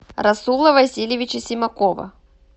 расула васильевича симакова